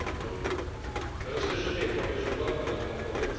e più stimolante del nostro modo di produrre.